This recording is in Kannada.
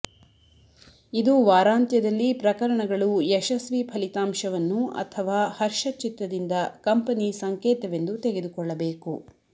ಇದು ವಾರಾಂತ್ಯದಲ್ಲಿ ಪ್ರಕರಣಗಳು ಯಶಸ್ವಿ ಫಲಿತಾಂಶವನ್ನು ಅಥವಾ ಹರ್ಷಚಿತ್ತದಿಂದ ಕಂಪನಿ ಸಂಕೇತವೆಂದು ತೆಗೆದುಕೊಳ್ಳಬೇಕು